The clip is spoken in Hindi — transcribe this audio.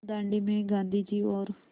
दाँडी में गाँधी जी और